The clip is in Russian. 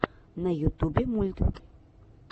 на ютубе мульт